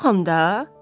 Yoxam da.